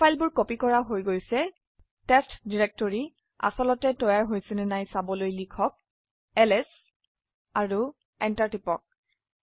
এই ফাইলবোৰ কপি কৰা হৈগৈছে টেষ্ট ডিৰেকটৰি আসলতে তৈয়াৰ হৈছে নে নাই চাবলৈ লিখক এলএছ আৰু এন্টাৰ টিপক